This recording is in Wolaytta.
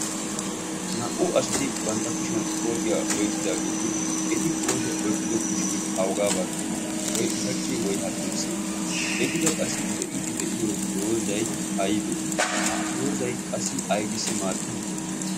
naa"u asati bantta kushiyan kootiyaa oyqqidaageeti eti kootiyaa oyqqido kushie awugaa baggii woy ushachchi woy haddirssi etikka qassi de'iiddi de'iyo doozai aibee ha doozai qassi aibisi maaddii